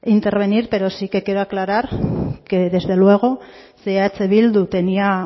intervenir pero sí que quiero aclarar que desde luego si eh bildu tenía